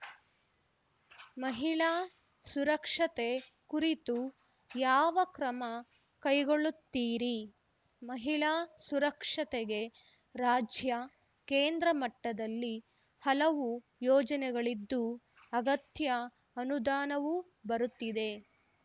ಮಹಿಳಾ ಸುರಕ್ಷತೆ ಕುರಿತು ಯಾವ ಕ್ರಮ ಕೈಗೊಳ್ಳುತ್ತೀರಿ ಮಹಿಳಾ ಸುರಕ್ಷತೆಗೆ ರಾಜ್ಯ ಕೇಂದ್ರ ಮಟ್ಟದಲ್ಲಿ ಹಲವು ಯೋಜನೆಗಳಿದ್ದು ಅಗತ್ಯ ಅನುದಾನವೂ ಬರುತ್ತಿದೆ